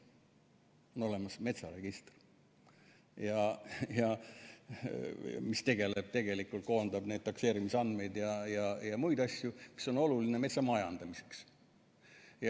On olemas metsaregister, mis koondab takseerimise andmeid ja muid asju, mis on oluline metsa majandamiseks.